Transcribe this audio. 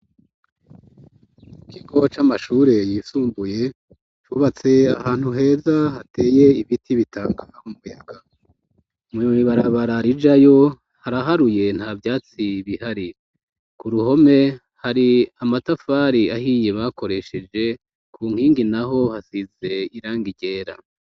Ikigo c'amashure yisumbuye cubatse ahantu heza hateye ibiti bitandukanye mwibabara rijayo haraharuye nta vyatsi bihari ku ruhome hari amatafari ahiye bakoresheje ku nkingi naho hasize irangi ryera.